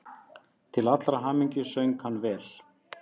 Til allrar hamingju söng hann vel!